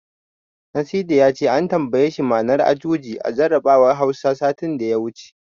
Nasidi ya ce an tambaye shi ma'anar Ajuji a jarabawar Hausa, satin da ya wuce.